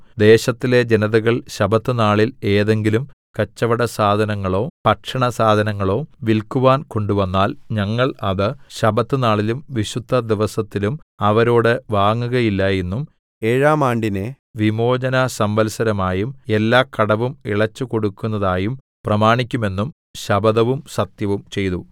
ദേശത്തിലെ ജനതകൾ ശബ്ബത്തുനാളിൽ ഏതെങ്കിലും കച്ചവടസാധനങ്ങളോ ഭക്ഷണസാധനങ്ങളോ വിൽക്കുവാൻ കൊണ്ടുവന്നാൽ ഞങ്ങൾ അത് ശബ്ബത്തുനാളിലും വിശുദ്ധദിവസത്തിലും അവരോട് വാങ്ങുകയില്ല എന്നും ഏഴാം ആണ്ടിനെ വിമോചനസംവത്സരമായും എല്ലാ കടവും ഇളച്ചുകൊടുക്കുന്നതായും പ്രമാണിക്കുമെന്നും ശപഥവും സത്യവും ചെയ്തു